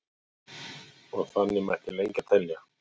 og þannig mætti lengi telja